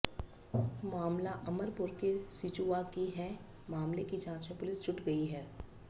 मामला अमरपुर के सिजुआ की है मामले की जांच में पुलिस जुट गई है